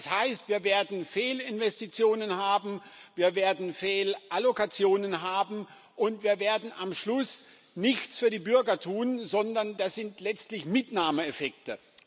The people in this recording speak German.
Das heißt, wir werden Fehlinvestitionen haben, wir werden Fehlallokationen haben, und wir werden am Schluss nichts für die Bürger tun, sondern das sind letztlich Mitnahmeeffekte.